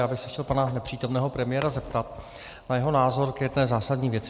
Já bych se chtěl pana nepřítomného premiéra zeptat na jeho názor k jedné zásadní věci.